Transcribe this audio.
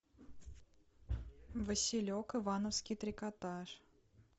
василек ивановский трикотаж